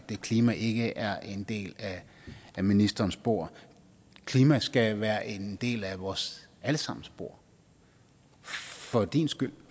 klima ikke er en del af ministerens bord klima skal være en del af vores alle sammens bord for din skyld